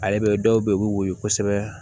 Ale bɛ dɔw bɛ yen u bɛ woyo kosɛbɛ